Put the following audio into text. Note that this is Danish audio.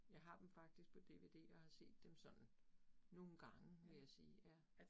Jeg har dem faktisk på DVD og har set dem sådan nogle gange vil jeg sige ja